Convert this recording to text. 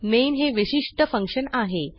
main हे विशिष्ट function आहे